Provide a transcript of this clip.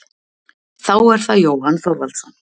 Þá er það Jóhann Þorvaldsson.